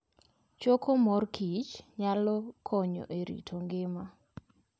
Choko mor kich nyalo konyo e rito ngima.